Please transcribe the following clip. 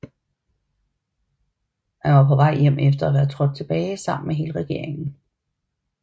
Han var på vej hjem efter at være trådt tilbage sammen med hele regeringen